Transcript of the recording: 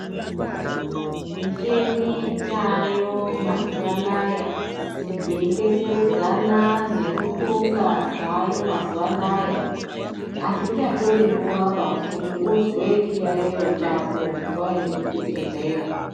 Michini yaayo mazuva anaya yeidetseredzana neruxunga zvaayo mazuva anaya hazvichatori nguvaba kuti uzwe chiyaiyo chako waende kuchibhedhleya.